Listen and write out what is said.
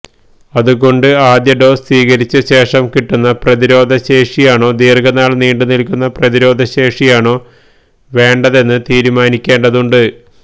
അതുകൊണ്ട് ആദ്യ ഡോസ് സ്വീകരിച്ച ശേഷം കിട്ടുന്ന പ്രതിരോധ ശേഷിയാണോ ദീര്ഘനാള് നീണ്ടുനില്ക്കുന്ന പ്രതിരോധശേഷിയാണോ വേണ്ടതെന്ന് തീരുമാനിക്കേണ്ടതുണ്ട്